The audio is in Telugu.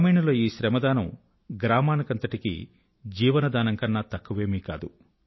గ్రామీణుల ఈ శ్రమదానం గ్రామాని కి అంతటికీ జీవనదానం కన్నా తక్కువేమీ కాదు